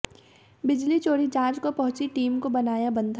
बिजली चोरी जांच को पहुंची टीम को बनाया बंधक